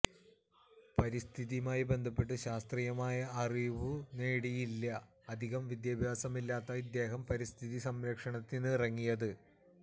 പരിസ്ഥിതിയുമായി ബന്ധപ്പെട്ട് ശാസ്ത്രീയമായ അറിവു നേടിയല്ല അധികം വിദ്യാഭ്യാസമില്ലാത്ത ഇദ്ദേഹം പരിസ്ഥിതി സംരക്ഷണത്തിനിറങ്ങിയത്